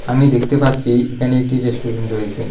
আমি দেখতে পাচ্ছি এখানে একটি রেস্টুরেন্ট রয়েছে।